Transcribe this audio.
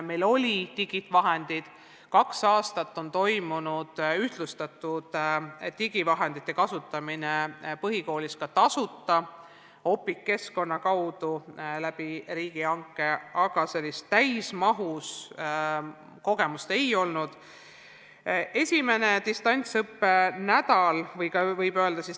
Meil oli teavet digivahendite kohta – kaks aastat on põhikoolides toimunud ühtlustatud digivahendite kasutamine, töötab tasuta Opiqu keskkond, mida on rakendatud riigihanke kaudu –, aga sellist täismahus kogemust meil ei olnud.